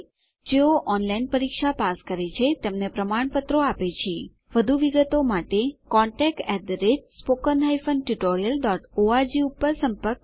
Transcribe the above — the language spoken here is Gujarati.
જેઓ ઓનલાઇન પરીક્ષા પાસ કરે છે તેમને પ્રમાણપત્રો આપે છે વધુ વિગતો માટે કૃપા કરી contactspoken tutorialorg ઉપર લખો